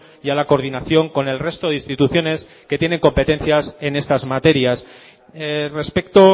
y a la coordinación con el resto de instituciones que tienen competencias en estas materias respecto